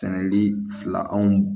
Sɛnɛli fila anw